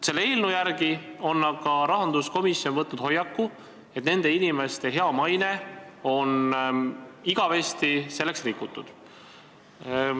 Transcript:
Selle eelnõu järgi otsustades on aga rahanduskomisjon võtnud hoiaku, et nende inimeste hea maine on igavesti rikutud.